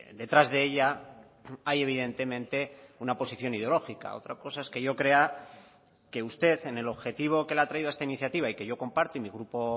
detrás de ella hay evidentemente una posición ideológica otra cosa es que yo crea que usted en el objetivo que le ha traído esta iniciativa y que yo comparto y mi grupo